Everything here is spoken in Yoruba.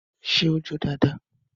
Ṣé ó jó dáadáa?